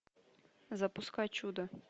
запускай чудо